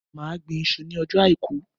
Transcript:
Mà á gbọn iṣu ní ọjọ́ àìkú.